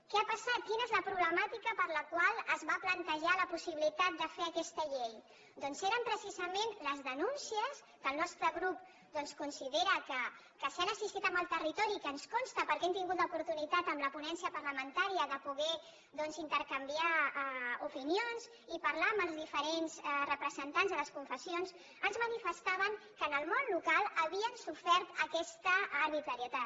què ha passat quina és la problemàtica per la qual es va plantejar la possibilitat de fer aquesta llei doncs eren precisament les denúncies que el nostre grup doncs considera que si han existit en el territori i que ens consta perquè hem tingut l’oportunitat amb la ponència parlamentària de poder doncs intercanviar opinions i parlar amb els diferents representants de les confessions ens manifestaven que en el món local havien sofert aquesta arbitrarietat